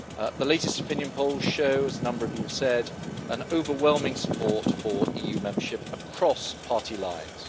The latest opinion polls show, as a number of you have said, an overwhelming support for EU membership across party lines.